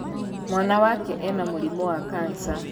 Mwana wake ena mũrimũ wa kanca.